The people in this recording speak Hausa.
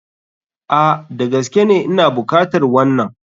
A,Da gaskene Ina bukatar wanan.